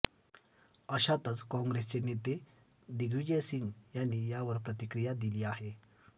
अशातच कॉंग्रेसचे नेते दिग्विजय सिंग यांनी यावर प्रतिक्रिया दिली आहे